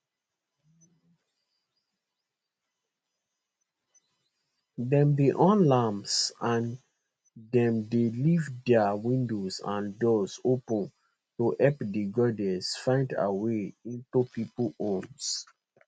dem dey on lamps and dem dey leave dia windows and doors open to help di goddess find her way into pipo homes